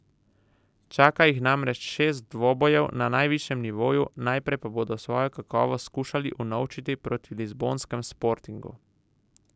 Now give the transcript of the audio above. Čaka jih namreč šest dvobojev na najvišjem nivoju, najprej pa bodo svojo kakovost skušali unovčiti proti lizbonskem Sportingu.